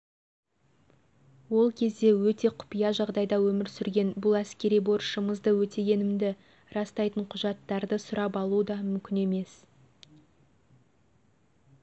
ол кезде өте құпия жағдайда өмір сүрген бұл әскери борышымызды өтегенімді растайтын құжаттарды сұрап алу да мүмкін емес